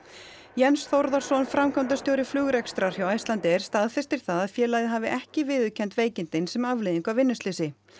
Jens Þórðarson framkvæmdastjóri flugrekstrar hjá Icelandair staðfestir það að félagið hafi ekki viðurkennt veikindin sem afleiðingu af vinnuslysi